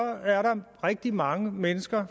er rigtig mange mennesker